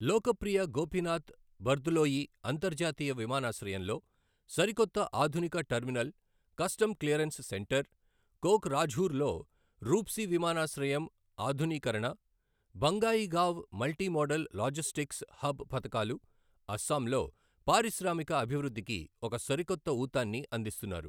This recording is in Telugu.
లోకప్రియ గోపీనాథ్ బర్దలోయీ అంతర్జాతీయ విమానాశ్రయంలో సరికొత్త ఆధునిక terminal, custom clearance centre, Kokrajhar లో రూప్సీ విమానాశ్రయం ఆధునీకరణ, Bongaigaon multi modal logistics hub పథకాలు అస్సాంలో పారిశ్రామిక అభివృద్ధికి ఒక సరికొత్త ఊతాన్ని అందిస్తున్నారు .